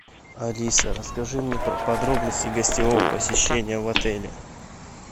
алиса расскажи мне подробности гостевого посещения в отеле